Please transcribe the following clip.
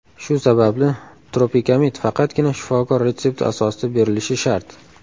Shu sababli, Tropikamid faqatgina shifokor retsepti asosida berilishi shart.